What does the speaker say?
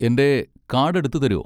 എൻ്റെ കാഡ് എടുത്ത് തരോ?